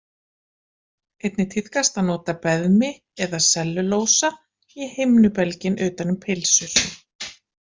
Einnig tíðkast að nota beðmi eða sellulósa í himnubelginn utan um pylsur.